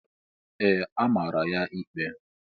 Ee! A mara ya ikpe.